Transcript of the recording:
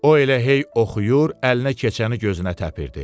O elə hey oxuyur, əlinə keçəni gözünə təpirdi.